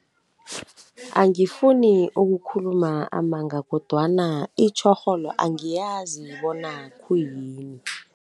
Angifuni ukukhuluma amanga kodwana itjhorholo angiyazi bona khuyini.